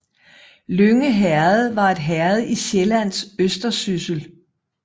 Lynge Herred var et herred i Sjællands Østersyssel